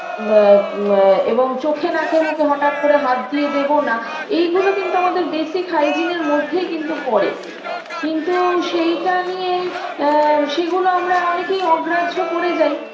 মা মা এবং চোখে নাকে মুখে হঠাৎ করে হাত দিয়ে দেব না এইগুলো কিন্তু আমাদের basic hygiene -এর মধ্যেই কিন্তু পরে কিন্তু সেইটা নিয়ে আ সেগুলো আমরা অনেকেই অগ্রাহ্য করে যাই